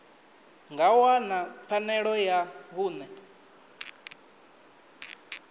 nga wana pfanelo ya vhuṋe